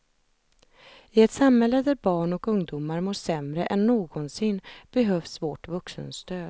I ett samhälle där barn och ungdomar mår sämre än någonsin behövs vårt vuxenstöd.